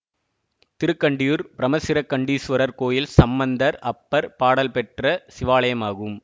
திருக்கண்டியூர் பிரமசிரக்கண்டீசுவரர் கோயில் சம்பந்தர் அப்பர் பாடல் பெற்ற சிவாலயமாகும்